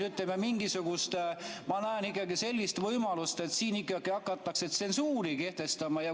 Ma näen sellist võimalust, et siin ikkagi hakatakse tsensuuri kehtestama.